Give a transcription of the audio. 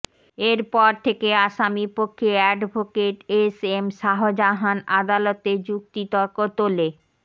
এরপর থেকে আসামিপক্ষে অ্যাডভোকেট এসএম শাহজাহান আদালতে যুক্তিতর্ক তুলে